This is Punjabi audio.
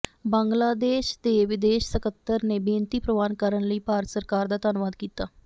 ਬੰਗਲਾਦੇਸ਼ ਦੇ ਵਿਦੇਸ਼ ਸਕੱਤਰ ਨੇ ਬੇਨਤੀ ਪ੍ਰਵਾਨ ਕਰਨ ਲਈ ਭਾਰਤ ਸਰਕਾਰ ਦਾ ਧੰਨਵਾਦ ਕੀਤਾ